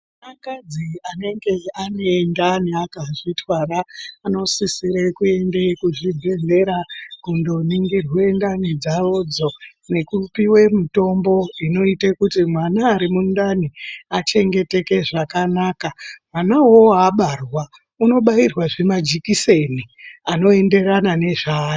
Akadzi anoite anenge ane ndani akazvitwara ,anosisire kuende kuzvibhedhlera ,kundoningirwe ndani dzavodzo, nekupiwe mitombo inoite kuti mwana ari mundani achengeteke zvakanaka. Mwana uwowo abarwa unobairwa unobairwazve majikiseni anoenderana nezvaari.